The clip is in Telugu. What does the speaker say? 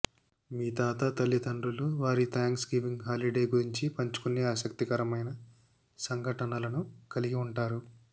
మీ తాత తల్లిదండ్రులు వారి థాంక్స్ గివింగ్ హాలిడే గురించి పంచుకునే ఆసక్తికరమైన సంఘటనలను కలిగి ఉంటారు